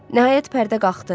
Nəhayət pərdə qalxdı.